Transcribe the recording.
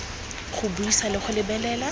go buisa le go lebelela